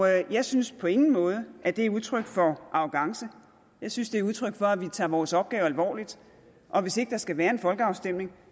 jeg synes på ingen måde at det er udtryk for arrogance jeg synes det udtryk for at vi tager vores opgave alvorligt og hvis ikke der skal være en folkeafstemning